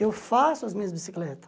Eu faço as minhas bicicletas.